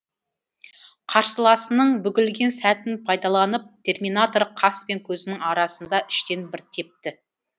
қарсыласының бүгілген сәтін пайдаланып терминатор қас пен көздің арасында іштен бір тепті